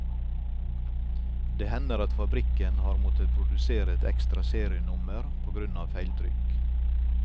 Det hender at fabrikken har måttet produsere et ekstra serienummer på grunn av feiltrykk.